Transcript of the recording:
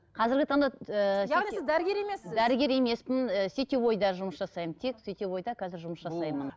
қазіргі таңда ыыы яғни сіз дәрігер емессіз дәрігер емеспін ііі сетевойда жұмыс жасаймын тек сетевойда қазір жұмыс жасаймын